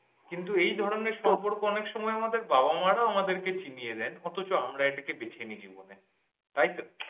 কিন্তু এই ধরনের সম্পর্ক আমাদের অনেক সময়ে বাবা মা রা আমাদেরকে চিনিয়ে দেন অথচ আমরা এটাকে বেছে নেই জীবনে তাইতো?